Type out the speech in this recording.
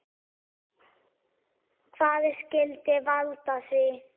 Hvað skyldi valda því?